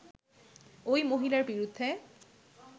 ঐ মহিলার বিরুদ্ধে